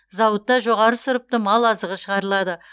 зауытта жоғары сұрыпты малы азығы шығарылады